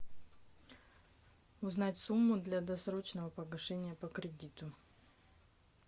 узнать сумму для досрочного погашения по кредиту